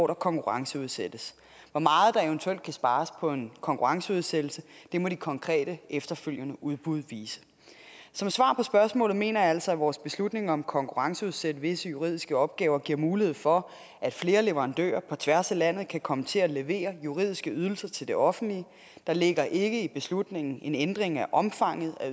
der konkurrenceudsættes hvor meget der eventuelt kan spares på en konkurrenceudsættelse må de konkrete efterfølgende udbud vise som svar på spørgsmålet mener jeg altså at vores beslutning om at konkurrenceudsætte visse juridiske opgaver giver mulighed for at flere leverandører på tværs af landet kan komme til at levere juridiske ydelser til det offentlige der ligger ikke i beslutningen en ændring af omfanget af